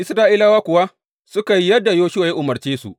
Isra’ilawa kuwa suka yi yadda Yoshuwa ya umarce su.